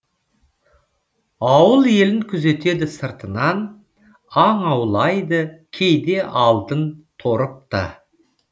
ауыл елін күзетеді сыртынан аң аулайды кейде алдын торып та